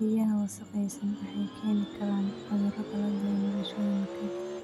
Biyaha wasakhaysan waxay keeni karaan cuduro kala duwan bulshooyinka.